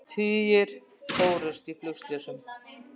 Tugir fórust í flugslysum